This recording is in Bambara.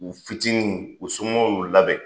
U fitinin u somɔɔw y'u labɛn.